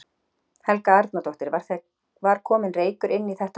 Helga Arnardóttir: Var kominn reykur inn í þetta herbergi?